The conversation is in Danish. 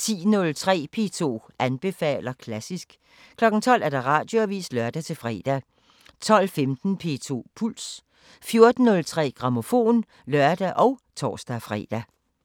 10:03: P2 anbefaler klassisk 12:00: Radioavisen (lør-fre) 12:15: P2 Puls 14:03: Grammofon (lør og tor-fre)